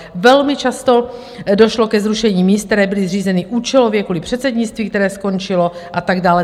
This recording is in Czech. Velmi často došlo ke zrušení míst, která byla zřízena účelově kvůli předsednictví, které skončilo, a tak dále.